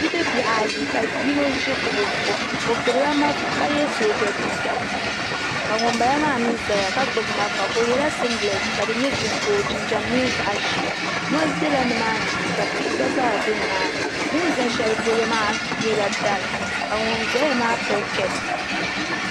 Bidibbihi ayi ka yino ʒi kuɣu zuɣu o ɡbubila malifa ka ye soojaliiɡa ka ŋumbala maa mi zaya ka ɡbubi malifa o yɛla siŋɡilɛti ka di nyɛ ɡiriin ka o jinjam nyɛ zaɣ' ʒee mɔri bela nimaani shee ka tihi ɡba zaa be nimaani bɛ ni za shɛli polo maa nyɛla dari ka ŋun zaya maa pili kapu